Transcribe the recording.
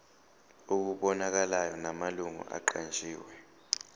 okubonakalayo namalungu aqanjiwe